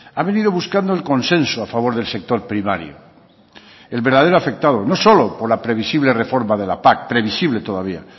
ha venido buscando el consenso a favor del sector primario el verdadero afectado no solo por la previsible reforma de la pac previsible todavía